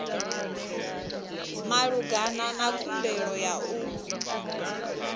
malugana na khumbelo ya u